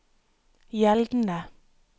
gjeldende